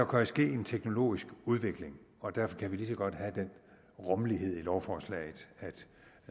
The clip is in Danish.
kan ske en teknologisk udvikling og derfor kan vi lige så godt have den rummelighed i lovforslaget